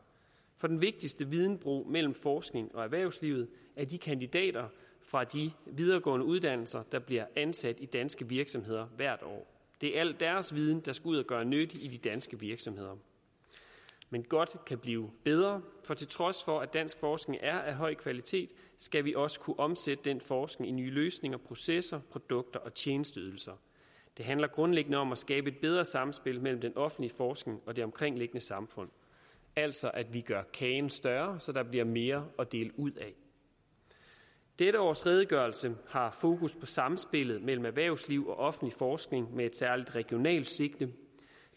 for den vigtigste videnbro mellem forskning og erhvervslivet er de kandidater fra de videregående uddannelser der bliver ansat i danske virksomheder hvert år det er al deres viden der skal ud at gøre nytte i de danske virksomheder men godt kan blive bedre for til trods for at dansk forskning er af høj kvalitet skal vi også kunne omsætte den forskning i nye løsninger processer produkter og tjenesteydelser det handler grundlæggende om at skabe et bedre samspil mellem den offentlige forskning og det omkringliggende samfund altså at vi gør kagen større så der bliver mere at dele ud af dette års redegørelse har fokus på samspillet mellem erhvervsliv og offentlig forskning med et særligt regionalt sigte